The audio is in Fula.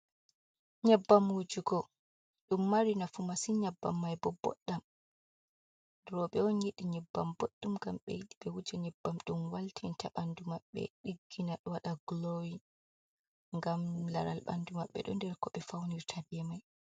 Nyebbam wujugo dum mari nafu masin nyabbam mai bo boddam robe on yidi nyebbam boddum gam be yidi be wuje nyebbam dum waltinta bandu maɓɓe ɗiggina wada glowy gam laral bandu maɓɓe do nder ko ɓe faunir ta be mai.